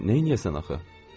Neyləyəsən axı?